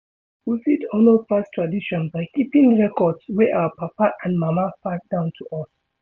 we fit honour past tradition by keeping records wey our papa and mama pass down to us